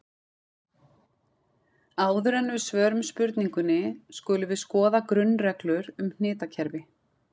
Áður en við svörum spurningunni skulum við skoða grunnreglur um hnitakerfi.